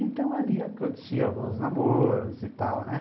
Então ali aconteciam alguns namoros e tal, né?